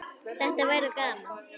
Þetta verður gaman